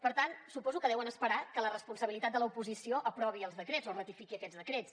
per tant suposo que deuen esperar que la responsabilitat de l’oposició aprovi els decrets o ratifiqui aquests decrets